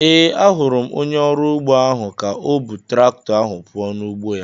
Ee, ahụrụ m onye ọrụ ugbo ahu ka o bu traktọ ahụ puo n'ugbo ya